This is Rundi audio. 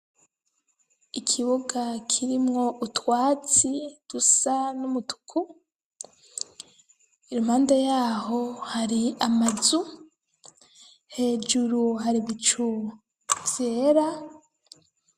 Ikibuga kirimwo utwatsi dusa n'umutuku , impande yaho hari amazu ,hejuru hari ibicu vyera .